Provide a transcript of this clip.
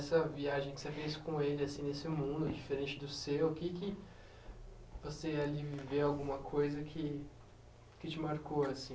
Nessa viagem que você fez com ele, assim, nesse mundo diferente do seu, o que que você ali viveu alguma coisa que te marcou assim?